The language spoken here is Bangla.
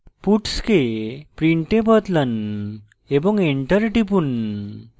puts কে print এ বদলান এবং enter টিপুন